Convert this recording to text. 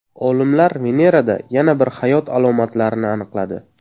Olimlar Venerada yana bir hayot alomatlarini aniqladi.